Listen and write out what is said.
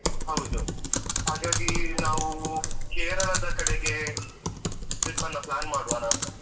ಹೌದು. ಹಾಗಾಗಿ ನಾವು Kerala ದ ಕಡೆಗೆ trip ಅನ್ನ plan ಮಾಡುವನ ಅಂತ.